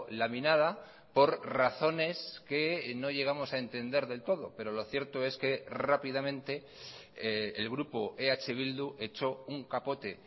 laminada por razones que no llegamos a entender del todo pero lo cierto es que rápidamente el grupo eh bildu echó un capote